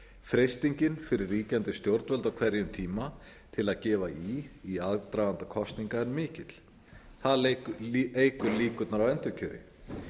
freistingin fyrir ríkjandi stjórnvöld á hverjum tíma til að gefa í í aðdraganda kosninga er mikill það eykur líkurnar á endurkjöri